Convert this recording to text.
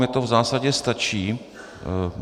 Mně to v zásadě stačí.